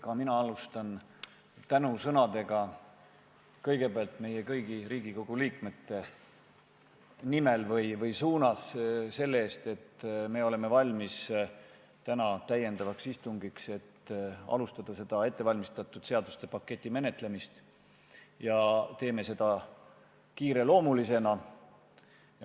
Ka mina tänan alustuseks kõiki Riigikogu liikmeid selle eest, et oleme valmis täna täiendavat istungit pidama, et alustada ettevalmistatud seaduste paketi menetlemist, ja teeme seda kiireloomulisena.